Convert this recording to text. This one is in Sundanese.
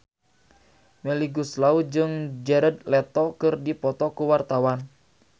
Melly Goeslaw jeung Jared Leto keur dipoto ku wartawan